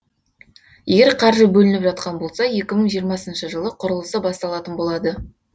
егер қаржы бөлініп жатқан болса екі мың жиырмасыншы жылы құрылысы басталатын болады